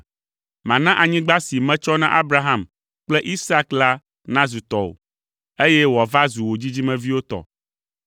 Mana anyigba si metsɔ na Abraham kple Isak la nazu tɔwò, eye wòava zu wò dzidzimeviwo tɔ.”